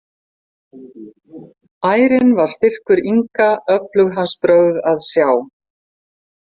Ærinn var styrkur Inga öflug hans brögð að sjá.